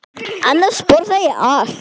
Annars borða ég allt.